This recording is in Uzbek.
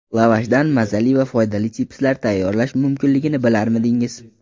Lavashdan mazali va foydali chipslar tayyorlash mumkinligini bilarmidingiz?